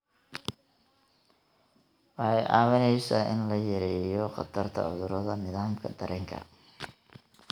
Waxay kaa caawinaysaa in la yareeyo khatarta cudurrada nidaamka dareenka.